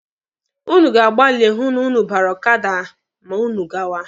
Ụnụ ga-agbali hụ na ụnụ bara ọkada ma ụnụ gawa.